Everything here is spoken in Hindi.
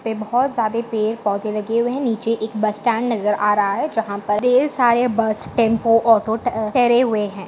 ये बहुत ज्यादे पेड़ पौधे लगे हुए है नीचे एक बस स्टैन्ड नजर आ रहा है जहाँ पर ढेर सारे बस टेम्पो ऑटो टे ठेहरे हुए है।